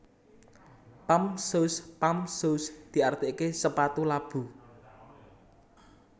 Pump Shoes Pump shoes diartiké sepatu labu